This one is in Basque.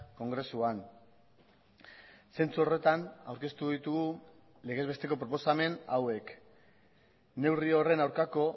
kongresuan zentzu horretan aurkeztu ditugu legez besteko proposamen hauek neurri horren aurkako